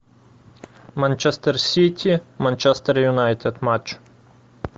манчестер сити манчестер юнайтед матч